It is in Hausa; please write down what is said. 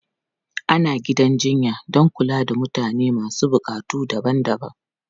Ana gidan jinya don kula da mutane masu buƙatu daban-daban.